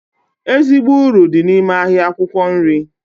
Ezigbo uru dị n'ime ahịa akwụkwọ nri